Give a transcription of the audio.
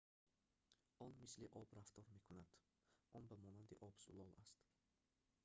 он мисли об рафтор мекунад он ба монанди об зулол аст